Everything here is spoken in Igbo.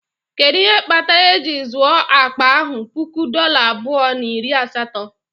Kedu ihe kpatara eji zụo akpa ahụ puku dola abụọ na iri asatọ?